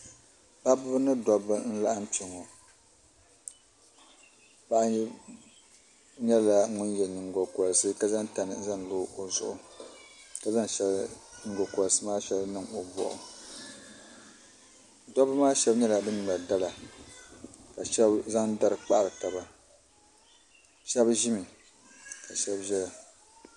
paɣiba ni dɔbba n-laɣim kpɛŋɔ paɣa nyɛla ŋun ye nyiŋgokɔriti ka zaŋ tani n-zaŋ lo o zuɣu ka zaŋ nyiŋgokɔriti maa shɛli niŋ o bɔɣu dɔbba maa shɛba nyɛla ban ŋmɛri dala ka shɛba zaŋ dari kpahiri taba shɛba ʒimi ka shɛba zaya